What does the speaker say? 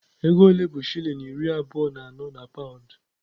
Ego ole bụ shilling iri abụọ na anọ na paụnd?